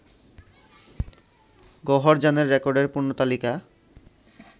গওহরজানের রেকর্ডের পূর্ণ তালিকা